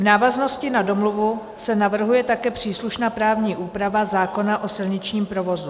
V návaznosti na domluvu se navrhuje také příslušná právní úprava zákona o silničním provozu.